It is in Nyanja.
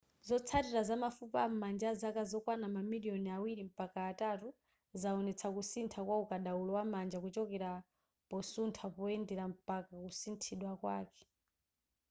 zotsalira za mafupa am'manja azaka zokwana ma miliyoni awiri mpaka atatu zawonetsa kusintha kwa ukadaulo wa manja kuchokera posuntha poyendera mpaka kusinthidwa kwake